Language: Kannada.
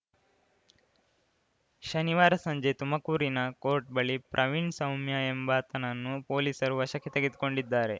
ಶನಿವಾರ ಸಂಜೆ ತುಮಕೂರಿನ ಕೋರ್ಟ್‌ ಬಳಿ ಪ್ರವೀಣ್‌ ಸೌಮ್ಯ ಎಂಬಾತನನ್ನು ಪೊಲೀಸರು ವಶಕ್ಕೆ ತೆಗೆದುಕೊಂಡಿದ್ದಾರೆ